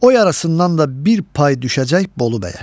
O yarısından da bir pay düşəcək Bolu Bəyə.